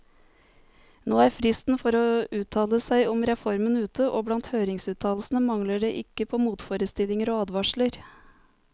Nå er fristen for å uttale seg om reformen ute, og blant høringsuttalelsene mangler det ikke på motforestillinger og advarsler.